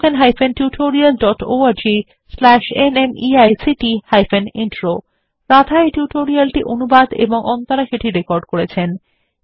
spoken hyphen tutorial dot org slash NMEICT hyphen intro Radha এই tutorial টি অনুবাদ এবং অন্তরা সেটি রেকর্ড করেছেন